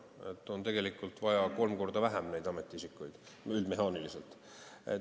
Tegelikult on neid ametiisikuid vaja kolm korda vähem, üldmehaaniliselt võttes.